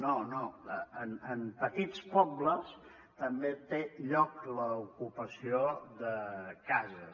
no no en petits pobles també té lloc l’ocupació de cases